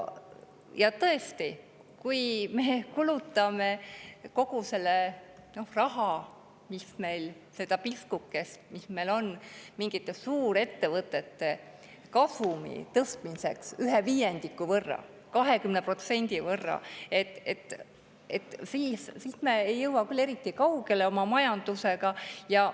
Ja tõesti, kui me kulutame kogu selle raha, selle piskukese, mis meil on, mingite suurettevõtete kasumi tõstmiseks ühe viiendiku, 20% võrra, siis me ei jõua küll eriti kaugele oma majandusega.